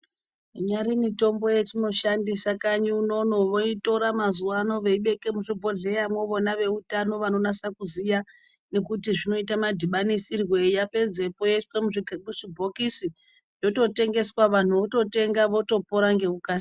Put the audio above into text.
Inyari mitombo yatinoshandisa kanyi unono woitora mazuvano woibeke muzvibhodhlera wona weutano vanonasa kuziwa nekuti zvinoitwa madhibanisirwei pedzeko yoiswa muzvibhokisi yototengeswa vanhu vototenga votopora ngekukasika.